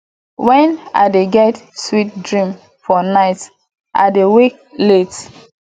wen i dey get sweet dream for night i dey wake late